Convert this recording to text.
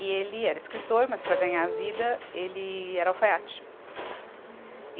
E ele era escritor, mas para ganhar a vida, ele era alfaiate. Ah